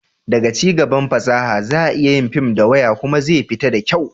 da cigaban fasaha, za a iya yin fim da waya kuma zai fita da kyau